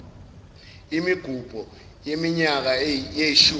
imigubho yeminyaka yeshumi